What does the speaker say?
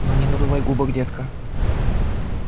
ну не надувай губок детка